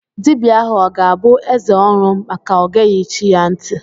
Dibia ahụ ọ ga-abụ eze ọnụ maka ọ geghi chi ya ntị.